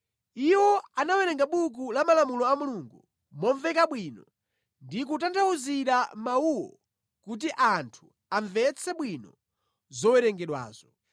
Iwo anawerenga buku la malamulo a Mulungu momveka bwino ndi kutanthauzira mawuwo kuti anthu amvetse bwino zowerengedwazo.